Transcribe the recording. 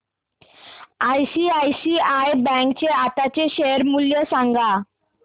ICICI bank चे आताचे share मूल्य सांगा